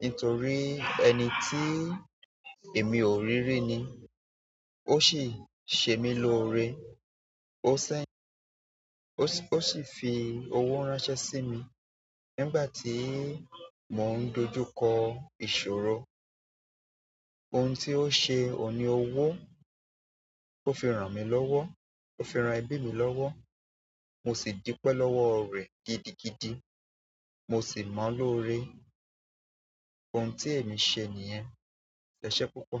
nítorí ẹni tí èmi ò rí rí ni ó sì ṣe mí lórí, ó sẹ́. Ó sì fi owó ránṣẹ́ sí mi nígbà tí mò ń dojú kọ ìṣòro. Ohun tí ó ṣe ò ní owó, ó fi ràn mí lọ́wọ́, ó fi ran ẹbí mi lọ́wọ́, mo sì dúpẹ́ lọ́wọ́ rẹ̀ gidigidi, mo sì mọ̀ ọ lóore. Ohun tí èmi ṣe nìyẹn, ẹ ṣé púpọ̀.